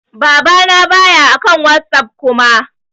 Baba na ba ya akan WhatsApp Kuma.